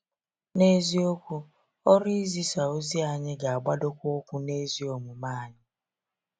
N’eziokwu, ọrụ izisa ozi anyị ga-agbadokwa ukwu n’ezi omume anyị.